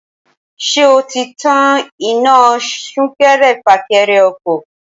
Ṣé o ti tan iná súnkẹrẹ-fàkẹrẹ ọkọ̀